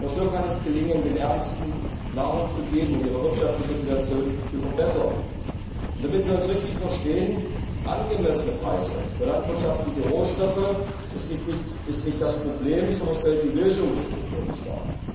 Nur so kann es gelingen, den Ärmsten Nahrung zu geben und ihre wirtschaftliche Situation zu verbessern. Damit wir uns richtig verstehen Angemessene Preise für landwirtschaftliche Rohstoffe sind nicht das Problem, sondern sie stellen die Lösung des Problems dar.